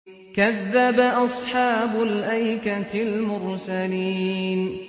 كَذَّبَ أَصْحَابُ الْأَيْكَةِ الْمُرْسَلِينَ